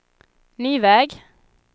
ny väg